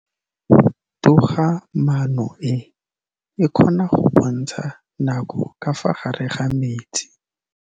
Toga-maanô e, e kgona go bontsha nakô ka fa gare ga metsi.